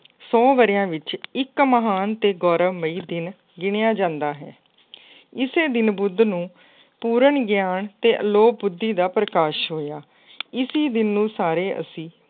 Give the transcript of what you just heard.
ਸੌ ਵਰ੍ਹਿਆਂ ਵਿੱਚ ਇੱਕ ਮਹਾਨ ਅਤੇ ਗੌਰਵਮਈ ਦਿਨ ਗਿਣਿਆ ਜਾਂਦਾ ਹੈ। ਇਸੇ ਦਿਨ ਬੁੱਧ ਨੂੰ ਪੂਰਨ ਗਿਆਨ ਅਤੇ ਅਲੋਪ ਬੁੱਧੀ ਦਾ ਪ੍ਰਕਾਸ਼ ਹੋਇਆ। ਇਸੀ ਦਿਨ ਨੂੰ ਸਾਰੇ ਅਸੀਂ